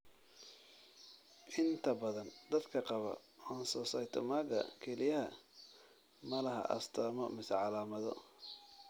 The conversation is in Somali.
Inta badan dadka qaba oncocytomaga kelyaha ma laha astamo mise calaamado.